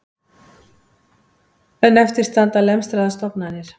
En eftir standa lemstraðar stofnanir